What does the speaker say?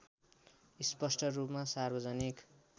स्पष्ट रूपमा सार्वजनिक